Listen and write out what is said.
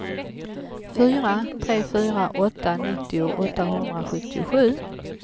fyra tre fyra åtta nittio åttahundrasjuttiosju